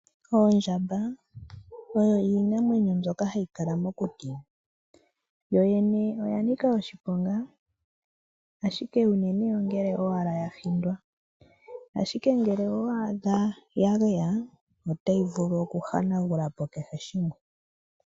Oondjamba, oyo iinamwenyo mbyoka hayi kala mokuti. Oya nika oshiponga, ashike unene owala ngele ya hindwa. Ngele owe yi adha ya geya otayi vulu okuhanagula po kehe shimwe.